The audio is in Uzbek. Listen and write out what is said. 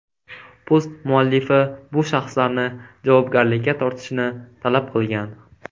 Post muallifi bu shaxslarni javobgarlikka tortishni talab qilgan.